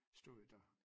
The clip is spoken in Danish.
Stod der